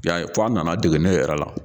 I y'a ye f'a nana dege ne yɛrɛ la.